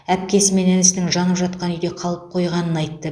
әпкесі мен інісінің жанып жатқан үйде қалып қойғанын айтты